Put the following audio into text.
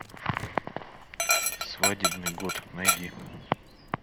свадебный год найди